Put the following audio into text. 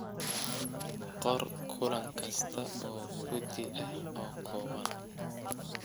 Qor kulan kasta oo guddi ah oo kooban.